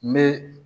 Me